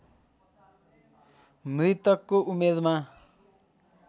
मृतकको उमेरमा